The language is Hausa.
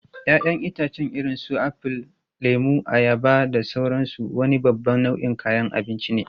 Ya'yan itãcen irin su apple, lemu, ayaba, da sauransu wani babban nau'in kayan abinci ne.